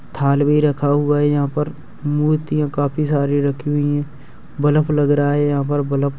थाल भी रखा हुआ है यहां पर मूर्तियां काफी सारी रखी हुई है बल्ब लग रहा है। यहां पर बल्ब --